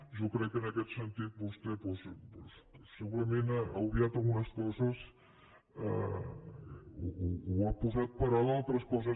jo crec que en aquest sentit vostè doncs segurament ha obviat algunes coses o ha passat per alt altres coses